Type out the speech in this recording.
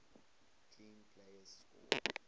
clean plays score